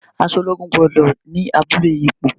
Aṣọ ológun gbọ́dọ̀ ni abulẹ ipò.